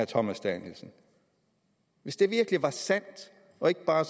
thomas danielsen hvis det virkelig var sandt og ikke bare